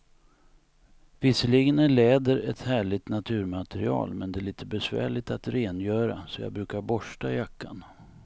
Visserligen är läder ett härligt naturmaterial, men det är lite besvärligt att rengöra, så jag brukar borsta jackan.